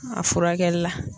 A furakɛli la.